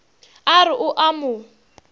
a re o a mo